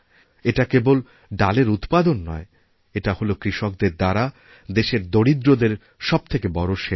এটা কেবল ডালের উৎপাদন নয় এটা হল কৃষকদের দ্বারাদেশের দরিদ্রদের সবথেকে বড় সেবা